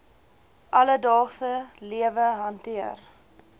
alledaagse lewe hanteer